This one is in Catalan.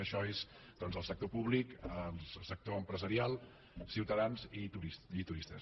això és el sector públic el sector empresarial ciutadans i turistes